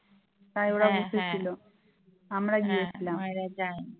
তাই ওরা বসে ছিল আমরা গিয়েছিলাম